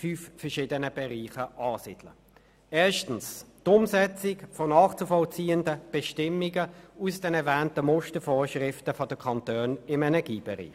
Erstens geht es um die Umsetzung von nachzuvollziehenden Bestimmungen aus den erwähnten Mustervorschriften der Kantone im Energiebereich.